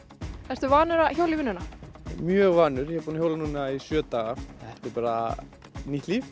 ertu vanur að hjóla í vinnuna mjög vanur ég er búin að hjóla núna í sjö daga þetta er bara nýtt líf